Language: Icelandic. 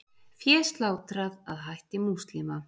Fé slátrað að hætti múslima